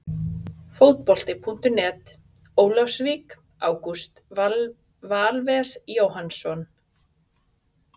Fótbolti.net, Ólafsvík- Ágúst Valves Jóhannsson.